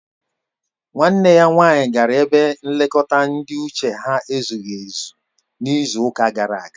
Nwanne ya nwanyị gara ebe nlekọta ndị uche ha ezughị ezu n'izu ụka gara aga